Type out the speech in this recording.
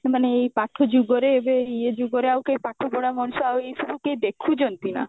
ମାନେ ଏଇ ପାଠ ଯୁଗରେ ଏବେ ଇଏ ଯୁଗରେ ଆଉ କେହି ପାଠ ପଢା ମଣିଷ ଆଉ ଏସବୁ କିଏ ଦେଖୁଛନ୍ତି ନା